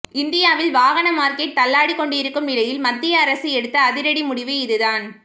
இந்தியாவில் வாகன மார்க்கெட் தள்ளாடி கொண்டிருக்கும் நிலையில் மத்திய அரசு எடுத்த அதிரடி முடிவு இதுதான்